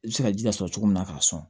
I bɛ se ka ji las'i cogo min na k'a sɔn